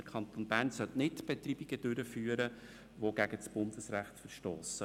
Der Kanton Bern sollte keine Betreibungen durchführen, die gegen das Bundesrecht verstossen.